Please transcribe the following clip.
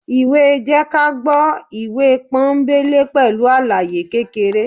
ìwé jẹ́kágbọ́ ìwé pọ́nńbélé pẹlu alàyé kékeré